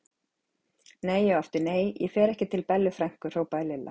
Nei og aftur nei, ég fer ekki til Bellu frænku! hrópaði Lilla.